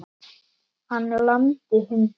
Hann lamdi hunda